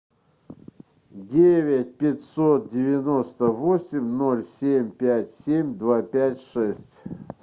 девять пятьсот девяносто восемь ноль семь пять семь два пять шесть